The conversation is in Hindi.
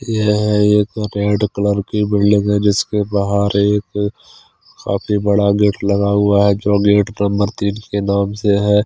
यह एक रेड कलर की बिल्डिंग हैं जिसके बाहर एक काफी बड़ा गेट लगा हुआ है जो गेट नम्बर तीन के नाम से है।